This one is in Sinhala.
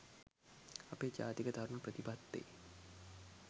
අපේ ජාතික තරුණ ප්‍රතිපත්තියේ